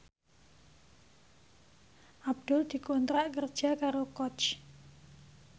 Abdul dikontrak kerja karo Coach